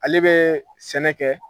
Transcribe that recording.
Ale bɛ sɛnɛ kɛ